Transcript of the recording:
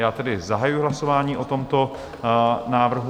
Já tedy zahajuji hlasování o tomto návrhu.